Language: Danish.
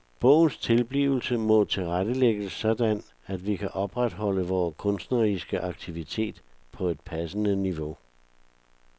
Bogens tilblivelse må tilrettelægges sådan at vi kan opretholde vores kunstneriske aktivitet på et passende niveau.